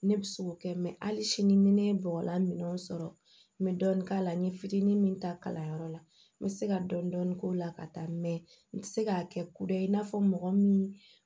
Ne bɛ se k'o kɛ mɛ hali sini ni ne ye bɔgɔlan min sɔrɔ n bɛ dɔɔnin k'a la n ye fitinin min ta kalanyɔrɔ la n bɛ se ka dɔɔni dɔɔni k'o la ka taa mɛ n tɛ se k'a kɛ kudayi i n'a fɔ mɔgɔ min